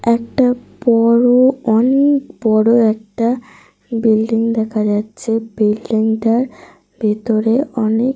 ছোট ছোট রুম দেখা যাচ্ছে। অনেক জানলা দেখা যাচ্ছে। তার নিচে অনেক মানুষ জন রয়েছে দেখা যাচ্ছে।